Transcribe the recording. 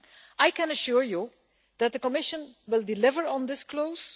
I can assure you that the Commission will deliver on this clause.